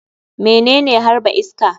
Menene harba iska?